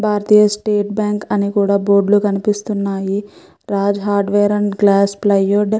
భారతీయ state bank అని కూడా board లు కనిపిస్తున్నాయి Raj hardware and glass plywood --